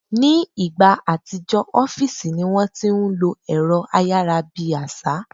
Ni ìgbà àtijọ́, ọ́fìsì ní wọ́n ti ń lo ẹ̀rọ ayára bí àṣá